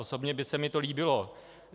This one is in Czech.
Osobně by se mi to líbilo.